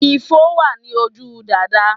Ifo wà ní ojú Dàdá